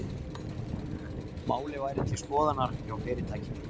Málið væri til skoðunar hjá fyrirtækinu